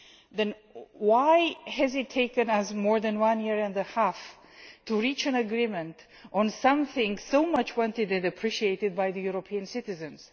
Then why hesitate for more than a year and a half to reach an agreement on something so much wanted and appreciated by European citizens?